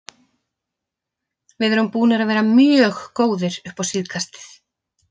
Við erum búnir að vera mjög góðir upp á síðkastið.